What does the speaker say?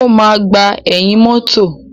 O máa gbà ẹ̀yìn mọ́tọ̀.